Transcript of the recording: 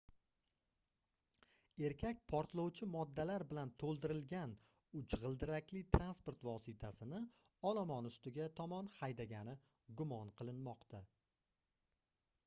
erkak portlovchi moddalar bilantoʻldirilgan uch gʻildirakli transport vositasini olomon ustiga tomon haydagani gumon qilinmoqda